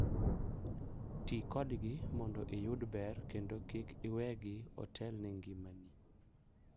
Ti kodgi mondo iyud ber kendo kik iwegi otelne ngimani.